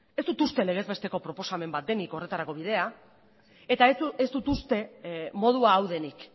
ez dut uste legez besteko proposamen bat denik horretarako bidea eta ez dut uste modua hau denik